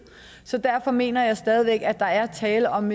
så derfor mener jeg stadig væk at der er tale om